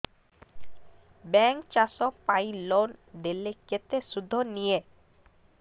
bank ଚାଷ ପାଇଁ loan ଦେଲେ କେତେ ସୁଧ ନିଏ